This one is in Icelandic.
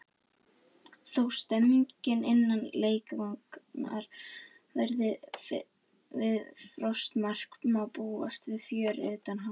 Þó stemningin innan leikvangar verði við frostmark má búast við fjöri utan hans.